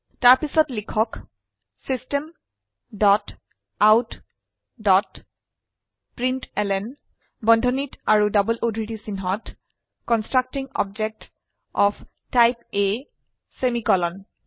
তাৰপিছত লিখক system dot out dot println বন্ধনী আৰু ডবল উদ্ধৃতি চিনহত constructing object of type A semicolon